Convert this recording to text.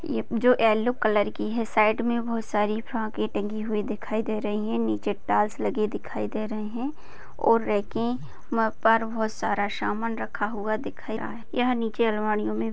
ये जो yellow colour की है साइड में बहुत सारी फ्रोकें टंगी हुई दिखाई दे रही है नीचे टाइल्स लगी दिखाई दे रहे है और रैके पर बहुत सारा सामान रखा हुआ दिख रहा है यह नीचे अलमारियों में --